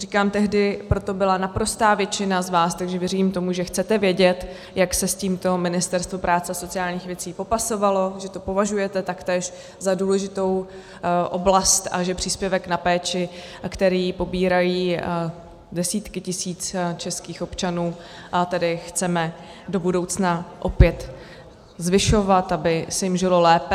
Říkám, tehdy pro to byla naprostá většina z vás, takže věřím tomu, že chcete vědět, jak se s tímto Ministerstvo práce a sociálních věcí popasovalo, že to považujete taktéž za důležitou oblast a že příspěvek na péči, který pobírají desítky tisíc českých občanů, tedy chceme do budoucna opět zvyšovat, aby se jim žilo lépe.